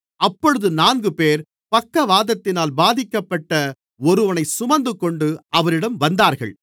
அப்பொழுது நான்குபேர் பக்கவாதத்தினால் பாதிக்கப்பட்ட ஒருவனைச் சுமந்துகொண்டு அவரிடம் வந்தார்கள்